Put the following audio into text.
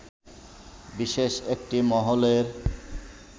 বিশেষ একটি মহলের